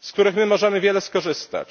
z których możemy wiele skorzystać.